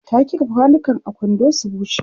ta kifa kwanukan a kwando su bushe